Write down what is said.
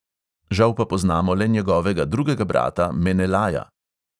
Žal pa poznamo le njegovega drugega brata menelaja.